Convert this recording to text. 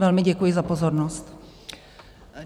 Velmi děkuji za pozornost.